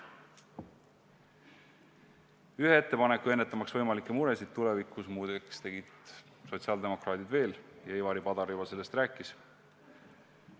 Ühe ettepaneku, ennetamaks võimalikke muresid tulevikus, muide tegid sotsiaaldemokraadid veel ja Ivari Padar juba sellest rääkis.